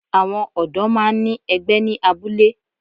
Àwọn ọ̀dó máa ń ní ẹgbẹ́ ní abúlé